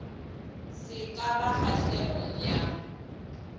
se ka ba kgahlegong ya